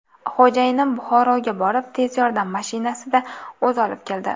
Xo‘jayinim Buxoroga borib, tez yordam mashinasida o‘zi olib keldi.